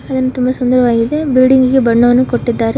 ಅದನ್ನು ತುಂಬ ಸುಂದರವಾಗಿದೆ ಬಿಲ್ಡಿಂಗ್ ಗೆ ಬಣ್ಣವನ್ನು ಕೊಟ್ಟಿದ್ದಾರೆ.